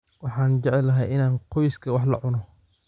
Waxaan jeclahay inaan qoyskayga wax la cuno.